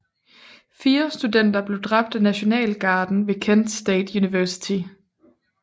Fire studenter blev dræbt af Nationalgarden ved Kent State University